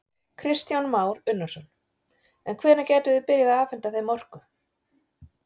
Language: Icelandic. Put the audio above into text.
Kristján Már Unnarsson: En hvenær gætuð þið byrjað að afhenta þeim orku?